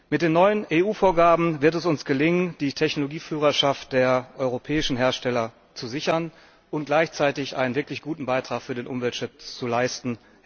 Mit den neuen EU Vorgaben wird es uns gelingen, die Technologieführerschaft der europäischen Hersteller zu sichern und gleichzeitig einen wirklich guten Beitrag für den Umweltschutz zu leisten!